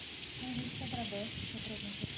Então, a gente que agradece a sua presença aqui.